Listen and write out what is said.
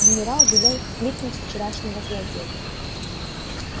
генерал велел кликнуть вчерашнего злодея